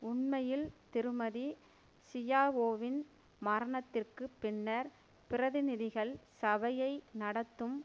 உண்மையில் திருமதி ஷியாவோவின் மரணத்திற்கு பின்னர் பிரதிநிதிகள் சபையை நடத்தும்